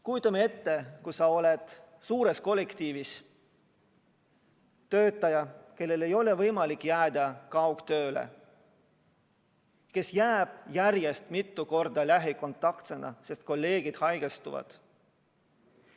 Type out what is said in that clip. Kujutame ette, et sa oled suures kollektiivis töötaja, kellel ei ole võimalik jääda kaugtööle, kes jääb järjest mitu korda lähikontaktsena koju, sest kolleegid haigestuvad.